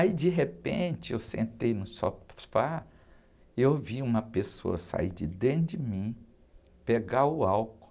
Aí, de repente, eu sentei no sofá, eu vi uma pessoa sair de dentro de mim, pegar o álcool,